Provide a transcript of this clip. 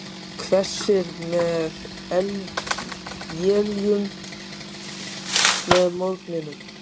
Hvessir með éljum með morgninum